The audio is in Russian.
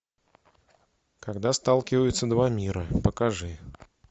когда сталкиваются два мира покажи